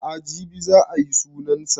A'a jibi za a yi sunan sa